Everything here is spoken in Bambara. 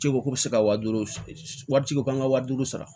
Cɛ ko k'u bɛ se ka wa duuru wari ci ko an ka wa duuru sara